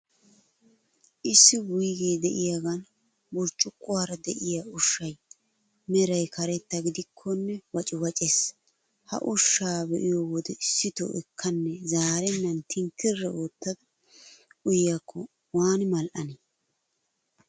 Issi wuygee de'iyaagan burccuqquwaara de'iyaa ushshay, meray karetta gidikkonne waciwacees. Ha ushshaa be'iyo wode issito ekkanne zaarennan tinkkiri oottada uyiyaakko waani mal''anee?